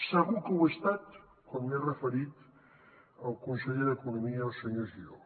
segur que ho he estat quan m’he referit al conseller d’economia al senyor giró